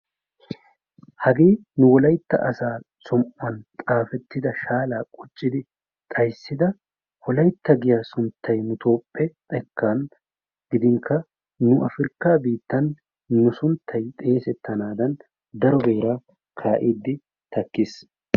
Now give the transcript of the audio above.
Hagee nu wolaytta asaa som'uwan xaafettida shaalaa quccidi xayissida wolaytta giya sunttay nu toophphe xekkan gidinkka nu afirkaa biittan nu sunttay xeesettanaadan daro beeraa kaa'iiddi takkis.